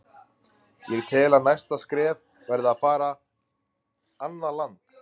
Ég tel að næsta skref verði að vera annað land.